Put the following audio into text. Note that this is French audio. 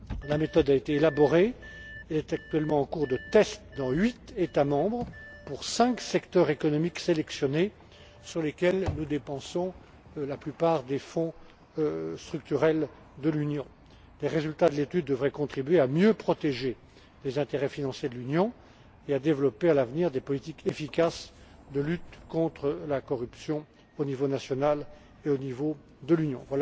La méthode a été élaborée, elle est actuellement en cours de test dans huit États membres, pour cinq secteurs économiques sélectionnés, sur lesquels nous dépensons la plupart des Fonds structurels de l'Union. Les résultats de l'étude devraient contribuer à mieux protéger les intérêts financiers de l'Union et permettre de développer, à l'avenir, des politiques efficaces de lutte contre la corruption, au niveau national et au niveau de l'Union.